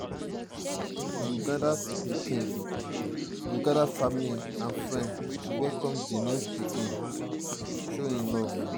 we go gather family and friends to welcome di new pikin show love.